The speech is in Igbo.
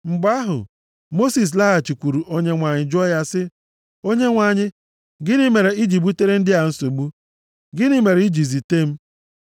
Mgbe ahụ Mosis laghachikwuru Onyenwe anyị jụọ ya sị, “Onyenwe anyị, gịnị mere i ji butere ndị a nsogbu? Gịnị mere i ji zite m?